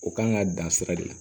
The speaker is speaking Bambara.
O kan ka dan sira de la